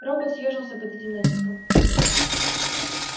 робот съёжился под этим натиском